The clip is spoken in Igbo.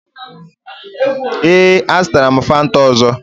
Ee, a zụtara m Fanta ọzọ.